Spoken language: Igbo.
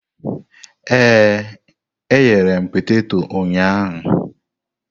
Ee, eghere m peteto ụnyahụ.